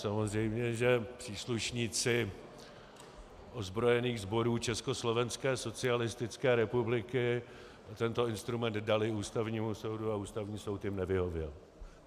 Samozřejmě že příslušníci ozbrojených sborů Československé socialistické republiky tento instrument daly Ústavnímu soudu a Ústavní soud jim nevyhověl.